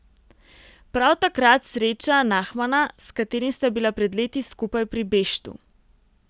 Prav takrat sreča Nahmana, s katerim sta bila pred leti skupaj pri Beštu.